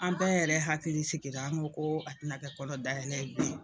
An bɛɛ yɛrɛ hakili sigira an ko ko a tɛna kɛ kɔnɔ dayɛlɛ ye bilen.